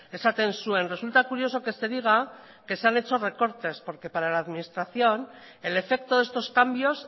esaten zuen resulta curioso que se diga que se han hecho recortes porque para la administración el efecto de estos cambios